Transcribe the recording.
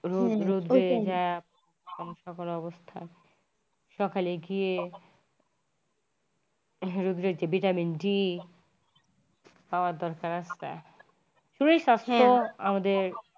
রোদ রোদ উঠে যায় বিদেশ অবস্হা সকালে গিয়ে রৌদ্রের যে vitamin d পাওয়ার দরকার আছে হম শরীর সাস্থ্য আমাদের।